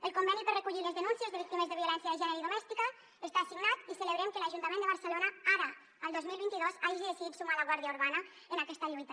el conveni per recollir les denúncies de víctimes de violència de gènere i domèstica està signat i celebrem que l’ajuntament de barcelona ara el dos mil vint dos hagi decidit sumar la guàrdia urbana en aquesta lluita